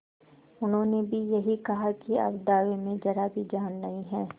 उन्होंने भी यही कहा कि अब दावे में जरा भी जान नहीं है